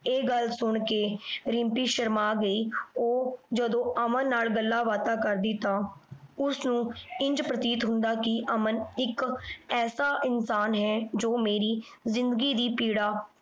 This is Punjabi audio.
ਇਹ ਗੱਲ ਸੁਣ ਕੇ ਰਿੰਮੀ ਸ਼ਰਮਾ ਗਈ। ਉਹ ਜਦੋਂ ਅਮਨ ਨਾਲ ਗੱਲਾਂ ਬਾਤਾਂ ਕਰਦੀ ਤਾਂ ਉਸਨੂੰ ਇੰਝ ਪ੍ਰਤੀਤ ਹੁੰਦਾ ਕਿ ਅਮਨ ਇਕ ਐਸਾ ਇਨਸਾਨ ਹੈ ਜੋ ਮੇਰੀ ਜਿੰਦਗੀ ਦੀ ਪੀੜਾ